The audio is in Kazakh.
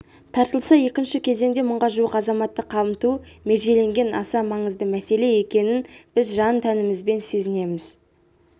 тартылса екінші кезеңде мыңға жуық азаматты қамту межеленген аса маңызды мәселе екенін біз жан-тәнімізбен сезінеміз